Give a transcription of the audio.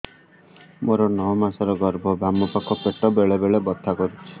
ମୋର ନଅ ମାସ ଗର୍ଭ ବାମ ପାଖ ପେଟ ବେଳେ ବେଳେ ବଥା କରୁଛି